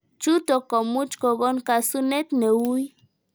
Chutok komuch kogon kasunet neuii